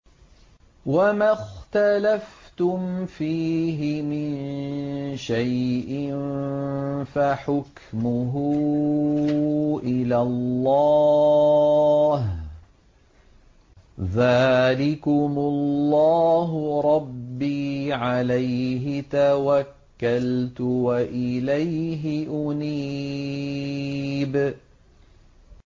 وَمَا اخْتَلَفْتُمْ فِيهِ مِن شَيْءٍ فَحُكْمُهُ إِلَى اللَّهِ ۚ ذَٰلِكُمُ اللَّهُ رَبِّي عَلَيْهِ تَوَكَّلْتُ وَإِلَيْهِ أُنِيبُ